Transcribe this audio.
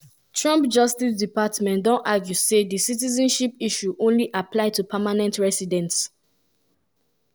na challenging family set-up she tell um local newspaper sowetan live but she learn how to stand up for herself. um